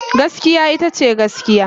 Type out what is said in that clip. Gaskiya ita ce gaskiya.